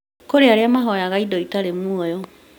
Kũrĩ arĩa mahoyaga indo itarĩ muoyo